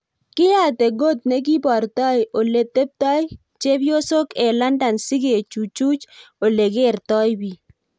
Kiyate Got negibartoi ole teptoi chepiosyok eng London sigechuchui ole kertoi bik